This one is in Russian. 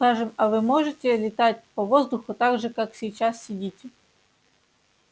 скажем а вы можете летать по воздуху так же как сейчас сидите